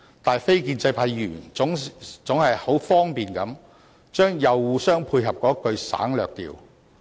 但是，非建制派議員總是很方便地把"又互相配合"省略掉。